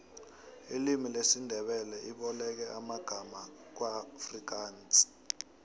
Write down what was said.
ilimu lesindebele iboleke amangama kuafrikansi